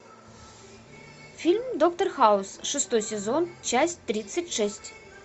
фильм доктор хаус шестой сезон часть тридцать шесть